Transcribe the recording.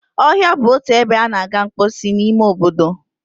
Ọhịa bụ otu ebe a na-aga mposi n'ime obodo.